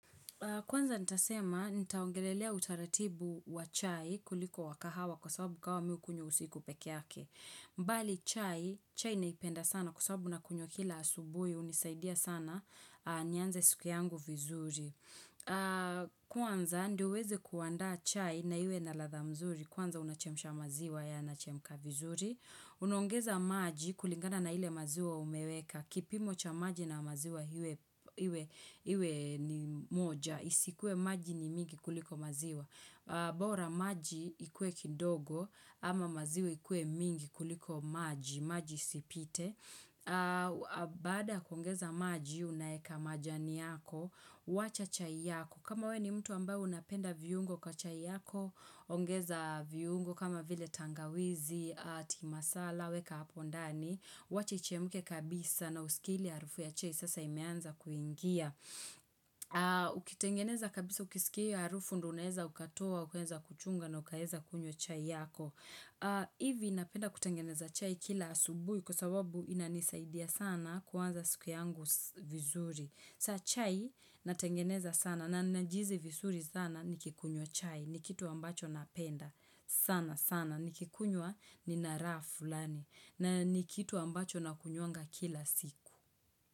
Kwanza nitasema, nitaongelelea utaratibu wa chai kuliko wa kahawa kwa sababu kahawa mi hukunywa usiku pekeyake. Mbali chai, chai naipenda sana kwa sababu nakunywa kila asubui, hunisaidia sana, nianze siku yangu vizuri. Kwanza ndiyo uwezi kuandaa chai na iwe na ladha mzuri, kwanza unachemsha maziwa yanachemka vizuri. Unaongeza maji kulingana na ile maziwa umeweka kipimo cha maji na maziwa iwe ni moja Isikue maji ni mingi kuliko maziwa bora maji ikue kidogo ama maziwa ikue mingi kuliko maji maji isipite Baada ya kuongeza maji unaeka majani yako wacha chai yako kama we ni mtu ambaye unapenda viungo kwa chai yako ongeza viungo kama vile tangawizi, tea masala, weka apondani wacha ichemuke kabisa na usikie ile harufu ya chai sasa imeanza kuingia Ukitengeneza kabisa ukisikia hiyo harufu ndounaeza ukatoa, ukaeza kuchunga na ukaeza kunywa chai yako Ivi napenda kutengeneza chai kila asubui kwa sababu inanisaidia sana kuanza siku yangu vizuri saa chai natengeneza sana na najihizi vizuri sana nikikunywa chai ni kitu ambacho napenda sana sana ni kikunywa nina raha fulani na ni kitu ambacho nakunywanga kila siku.